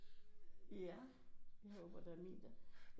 Ja jeg håber da min